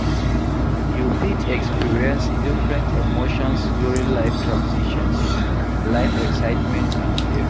You fit experience different emotions during life transitions, life excitement and fear.